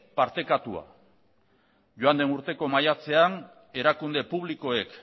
partekatua joan den urteko maiatzean erakunde publikoek